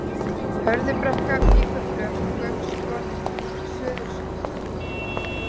Hörðubrekka, Víkurflöt, Gaukskot, Söðulsholt